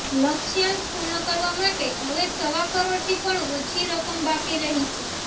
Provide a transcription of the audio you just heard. લક્ષ્યાંક પૂર્ણ કરવા માટે હવે સવા કરોડથી પણ ઓછી રકમ બાકી રહી છે